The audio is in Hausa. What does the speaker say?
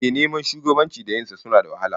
Ehh, neman shugabanci da yin sa suna da wahala